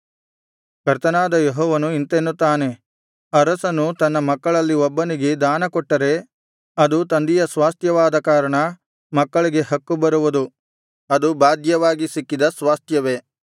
ಕರ್ತನಾದ ಯೆಹೋವನು ಇಂತೆನ್ನುತ್ತಾನೆ ಅರಸನು ತನ್ನ ಮಕ್ಕಳಲ್ಲಿ ಒಬ್ಬನಿಗೆ ದಾನ ಕೊಟ್ಟರೆ ಅದು ತಂದೆಯ ಸ್ವಾಸ್ತ್ಯವಾದ ಕಾರಣ ಮಕ್ಕಳಿಗೆ ಹಕ್ಕು ಬರುವುದು ಅದು ಬಾಧ್ಯವಾಗಿ ಸಿಕ್ಕಿದ ಸ್ವಾಸ್ತ್ಯವೇ